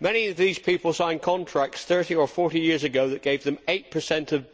Many of these people signed contracts 30 or 40 years ago that gave them 8